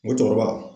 N ko cɛkɔrɔba